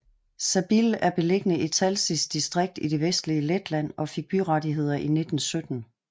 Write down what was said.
Sabile er beliggende i Talsis distrikt i det vestlige Letland og fik byrettigheder i 1917